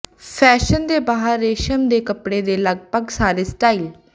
fashion ਦੇ ਬਾਹਰ ਰੇਸ਼ਮ ਦੇ ਕੱਪੜੇ ਦੇ ਲਗਭਗ ਸਾਰੇ ਸਟਾਈਲ